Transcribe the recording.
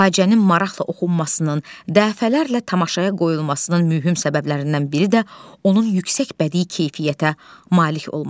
Faciənin maraqla oxunmasının, dəfələrlə tamaşaya qoyulmasının mühüm səbəblərindən biri də onun yüksək bədii keyfiyyətə malik olmasıdır.